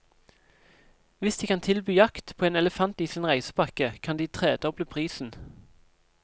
Hvis de kan tilby jakt på en elefant i sin reisepakke, kan de tredoble prisen.